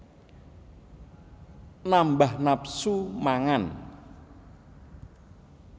Nambah nafsu mangan